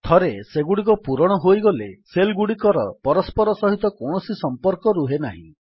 ଥରେ ସେଗୁଡ଼ିକ ପୂରଣ ହୋଇଗଲେ ସେଲ୍ ଗୁଡ଼ିକର ପରସ୍ପର ସହିତ କୌଣସି ସମ୍ପର୍କ ରୁହେନାହିଁ